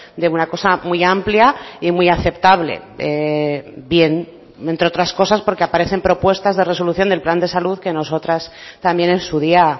de una cosa muy amplia y muy aceptable bien entre otras cosas porque aparecen propuestas de resolución del plan de salud que nosotras también en su día